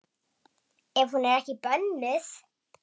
Ef hún er ekki bönnuð.